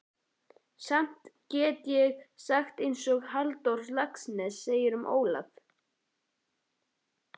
Samt get ég sagt einsog Halldór Laxness segir um Ólaf